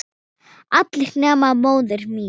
Allir nema móðir mín.